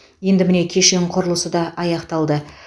енді міне кешен құрылысы да аяқталды